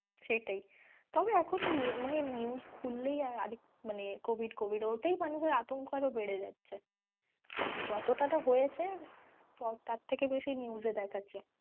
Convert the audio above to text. সেটাই, তবে এখন মানে news খুললেই আরেক মানে covid covid ওতেই মানুষের আতঙ্ক আরও বেড়ে যাচ্ছে যতটা না হয়েছে তার থেকে বেশি news এ দেখাচ্ছে।